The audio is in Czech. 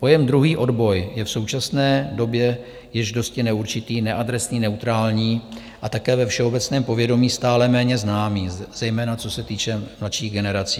Pojem "druhý odboj" je v současné době již dosti neurčitý, neadresný, neutrální a také ve všeobecném povědomí stále méně známý, zejména co se týče mladších generací.